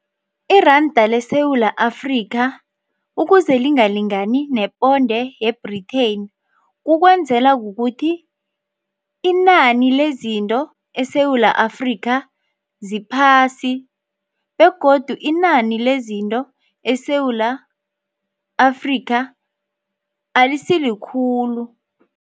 Iranda leSewula Afrika ukuze lingalingani neponde ye-Britain kukwenzela kukuthi inani lezinto eSewula Afrika ziphasi begodu inani lezinto eSewula Afrika alisi likhulu.